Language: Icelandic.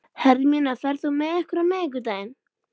Hermína, ferð þú með okkur á miðvikudaginn?